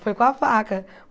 Foi com a faca.